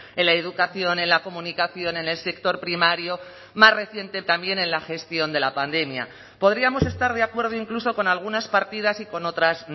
en la educación en la comunicación en el sector primario más reciente también en la gestión de la pandemia podríamos estar de acuerdo incluso con algunas partidas y con otras